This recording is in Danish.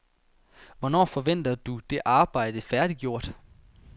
Hvornår forventer du det arbejde færdiggjort?